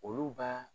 Olu baa